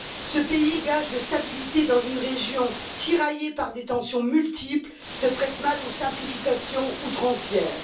Ce pays, gage de stabilité dans une région tiraillée par des tensions multiples, se prête mal aux simplifications outrancières.